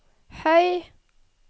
høy